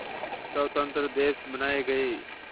स्वतंत्र देश बनाए गए